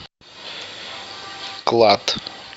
клад